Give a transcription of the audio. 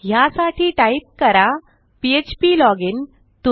ह्यासाठी टाईप करा mysql select db नाही बोलायचे फ्प्लॉजिन